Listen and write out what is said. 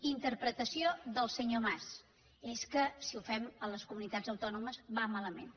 interpretació del senyor mas és que si ho fem a les comunitats autònomes va malament